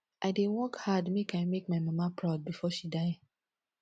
i dey work hard make i make my mama proud before she die